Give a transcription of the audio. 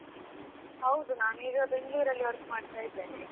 ಹೌದು ನಾನೀಗ ಬೆಂಗಳೂರಲ್ಲಿ work ಮಾಡ್ತಾ ಇದ್ದೇನೆ.